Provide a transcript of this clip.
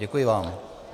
Děkuji vám.